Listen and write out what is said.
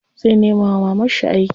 Zai nema wa mamarshi aiki.